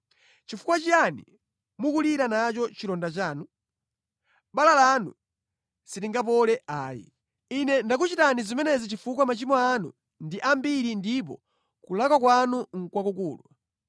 Chifukwa chiyani mukulira nacho chilonda chanu? Bala lanu silingapole ayi. Ine ndakuchitani zimenezi chifukwa machimo anu ndi ambiri ndipo kulakwa kwanu nʼkwakukulu.